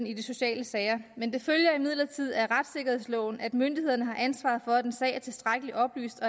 i de sociale sager har men det følger imidlertid af retssikkerhedsloven at myndighederne har ansvaret for at en sag er tilstrækkeligt oplyst